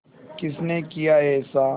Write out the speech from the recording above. किसने किया ऐसा